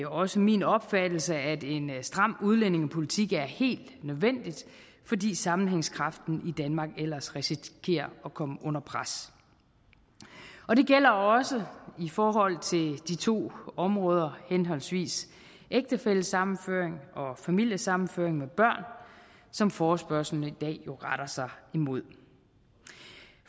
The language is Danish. også min opfattelse at en stram udlændingepolitik er helt nødvendig fordi sammenhængskraften i danmark ellers risikerer at komme under pres og det gælder også i forhold til de to områder henholdsvis ægtefællesammenføring og familiesammenføring med børn som forespørgslen i dag retter sig imod